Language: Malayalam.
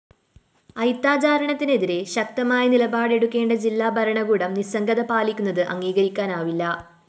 അയിത്താചരണത്തിനെതിരെ ശക്തമായ നിലപാടെടുക്കേണ്ട ജില്ലാ ഭരണകൂടം നിസ്സംഗത പാലിക്കുന്നത് അംഗീകരിക്കാനാവില്ല